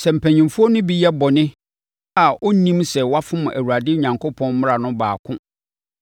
“ ‘Sɛ mpanimfoɔ no bi yɛ bɔne a ɔnnim sɛ wafom Awurade Onyankopɔn mmara no baako